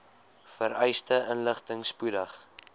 vereiste inligting spoedig